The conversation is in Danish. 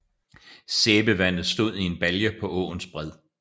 Sæbevandet stod i en balje på åens bred